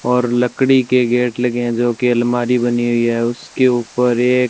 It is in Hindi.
और लकड़ी के गेट लगे हैं जो की अलमारी बनी हुई है उसके ऊपर एक--